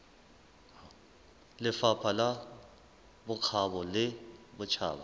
lefapha la bokgabo le botjhaba